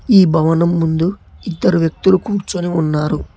ఈ భవనం ముందు ఇద్దరు వ్యక్తులు కూర్చొని ఉన్నారు.